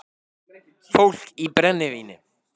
Fólk í brennivíni